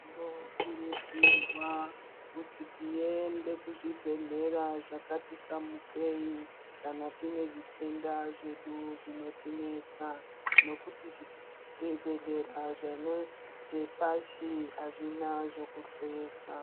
Tinokuridzirwawo kuti tiende kuzvibhehlera zvakati samukeyi kana tinezvitenda zvedu zvinotinesa nekuti zvibhehleya zvepasi azvina zvekuhloyesa